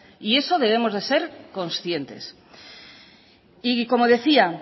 y eso debemos de ser conscientes y como decía